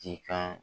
Ji kan